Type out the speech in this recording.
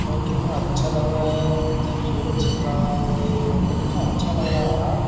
और कितना अच्छा लग रहा है जब सूरज छिप रहा है तो ये फोटो कितना अच्छा लग रहा है यार।